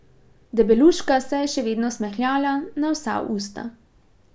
Debeluška se je še vedno smehljala na vsa usta.